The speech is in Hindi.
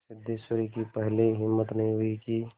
सिद्धेश्वरी की पहले हिम्मत नहीं हुई कि